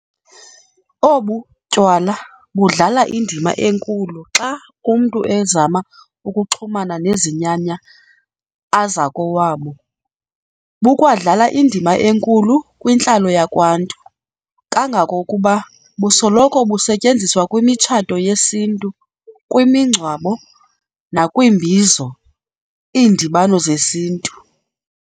Obu tywala budlala indima enkulu xa umntu ezama ukuxhumana nezinyanya azakowabo, bukwadlala indima enkulu kwintlalo yakwaNtu, kangangokuba busoloko busetyenziswa kwimitshato yesiNtu, kwimingcwabo, nakwiimbizos, iindibano zesintu.